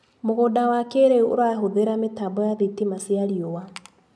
Mũgũnda wa kĩrĩu ũrahũthĩra mĩtambo ya thitima cia riũa.